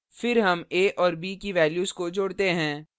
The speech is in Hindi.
फिर हमa और b की values को जोड़ते हैं